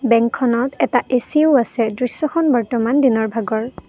বেংকখনত এটা এ_চি ও আছে দৃশ্যখন বৰ্তমান দিনৰ ভাগৰ।